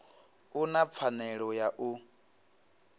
u na pfanelo ya u